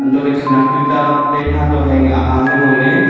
untohley khenak tuta plane hato hai ahamley ngoley.